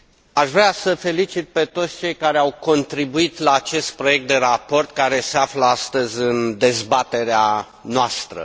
Aș vrea să îi felicit pe toți cei care au contribuit la acest proiect de raport care se află astăzi în dezbaterea noastră.